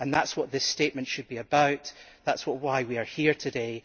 That is what this statement should be about and that is why we are here today.